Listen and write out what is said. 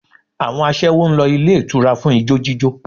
Àwọn aṣẹ́wó ń lọ ilé ìtura fún ijó jíjó